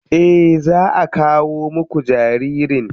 Eh za a kawo muku jaririn.